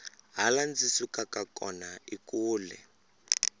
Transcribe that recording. laha ndzi sukaka kona i kule